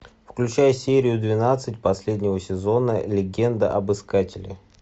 включай серию двенадцать последнего сезона легенда об искателе